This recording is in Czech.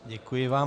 Děkuji vám.